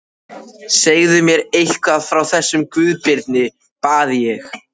Segðu mér eitthvað frá þessum Guðbirni, bað ég.